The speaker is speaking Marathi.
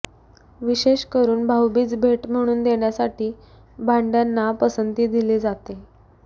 विशेष करून भाऊबीज भेट म्हणून देण्यासाठी भांडय़ांना पसंती दिली जाते